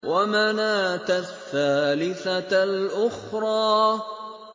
وَمَنَاةَ الثَّالِثَةَ الْأُخْرَىٰ